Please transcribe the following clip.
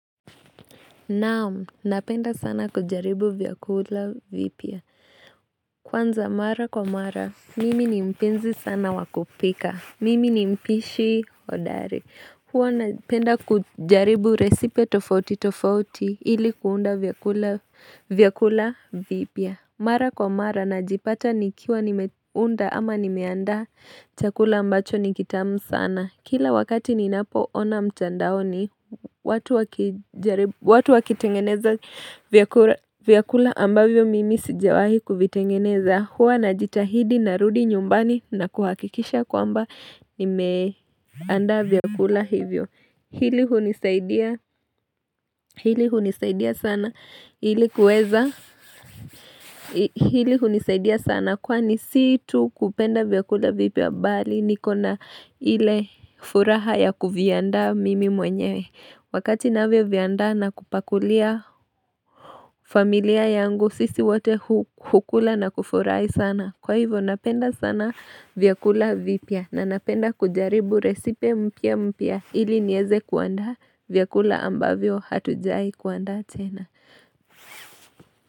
Naam, napenda sana kujaribu vyakula vipya. Kwanza mara kwa mara, mimi ni mpenzi sana wa kupika. Mimi ni mpishi hodari. Huwa napenda kujaribu recipe tofoti tofoti ili kuunda vyakula vipya. Mara kwa mara, najipata nikiwa nimeunda ama nimeandaa chakula ambacho ni kitamu sana. Kila wakati ninapo ona mtandaoni, watu wakitengeneza vyakula ambavyo mimi sijawahi kuvitengeneza. Huwa najitahidi narudi nyumbani na kuhakikisha kwamba nimeandaa vyakula hivyo. Hili hunisaidi Hili hunisaidia sana. Ili kuweza. Hili hunisaidia sana. Kwani si tu kupenda vyakula vipya bali. Nikona ile furaha ya kuviandaa mimi mwenyewe. Wakati navyo viandaa na kupakulia familia yangu. Sisi wote hukula na kufurahi sana. Kwa hivyo napenda sana vyakula vipya. Na napenda kujaribu recipe mpya mpya ili niweze kuandaa vyakula ambavyo hatujawai kuandaa tena.